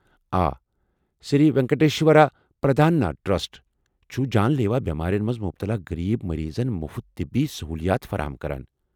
آ، سری وینکٹیشور پران دانا ٹرسٹ چھٗ جان لیوا بیمارین منٛز مبتلا غریب مریضن مٗفت طبی سہولیات فراہم کران۔